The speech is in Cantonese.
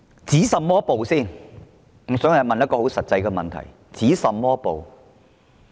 首先要提出的一個很實際問題是，要止甚麼暴呢？